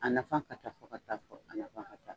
A nafa ka ca fo ka taa fɔ, a nafa ka ca